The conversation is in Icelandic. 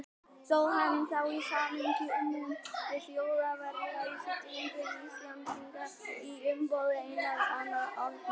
Stóð hann þá í samningum við Þjóðverja um siglingar Íslendinga í umboði Einars Arnórssonar.